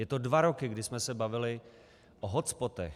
Je to dva roky, kdy jsme se bavili o hotspotech.